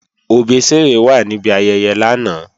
Òbésèré wà níbi ayẹyẹ lánàá